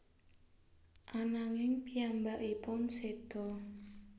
Ananging piyambakipun seda